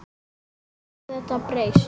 Hvernig getur þetta breyst?